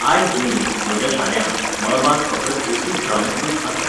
आयज न्ही, म्हज्या शाण्या, मळबांत फकत एकूच धवें कूप आसा!